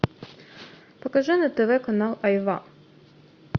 покажи на тв канал айва